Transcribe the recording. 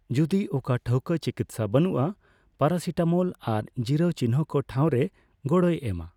ᱡᱩᱫᱤ ᱚᱠᱟ ᱴᱷᱟᱹᱣᱠᱟ ᱪᱤᱠᱤᱛᱽᱥᱟ ᱵᱟᱹᱱᱩᱜᱼᱟ, ᱯᱟᱨᱟᱥᱤᱴᱟᱢᱚᱞ ᱟᱨ ᱡᱤᱨᱟᱹᱣ ᱪᱤᱱᱦᱟᱹᱠᱚ ᱴᱷᱟᱹᱣ ᱨᱮ ᱜᱚᱲᱚᱭ ᱮᱢᱟ ᱾